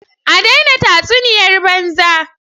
A daina tatsuniyar banza!!!